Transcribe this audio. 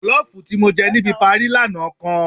Jọ̀lọ́ọ̀fù tí mo jẹ níbi parí lánàá kan